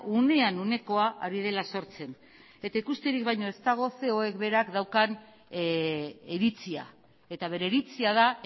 unean unekoa ari dela sortzen eta ikusterik baino ez dago coek berak daukan iritzia eta bere iritzia da